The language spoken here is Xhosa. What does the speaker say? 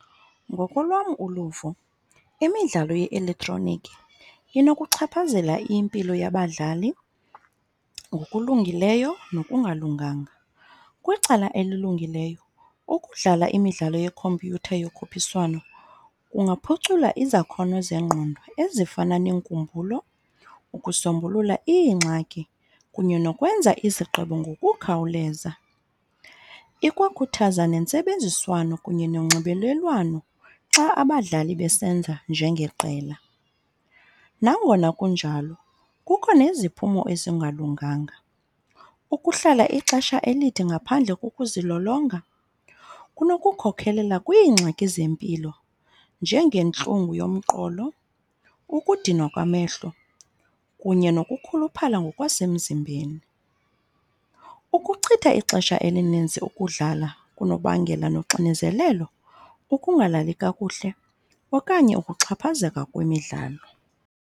Ngokolwam uluvo imidlalo ye-elektroniki inokuchaphazela impilo yabadlali ngokulungileyo nokungalunganga. Kwicala elilungileyo ukudlala imidlalo yekhompyutha yokhuphiswano kungaphucula izakhono zengqondo ezifana neenkumbulo, ukusombulula iingxaki kunye nokwenza izigqibo ngokukhawuleza. Ikwakhuthaza nentsebenziswano kunye nonxibelelwano xa abadlali besenza njengeqela. Nangona kunjalo kukho neziphumo ezingalunganga. Ukuhlala ixesha elide ngaphandle kokuzilolonga kunokukhokelela kwiingxaki zempilo njengentlungu yomqolo, ukudinwa kwamehlo, kunye nokukhuluphala ngokwasemzimbeni. Ukuchitha ixesha elininzi ukudlala kunokubangela noxinezelelo, ukungalali kakuhle, okanye ukuxhaphazeka kwemidlalo.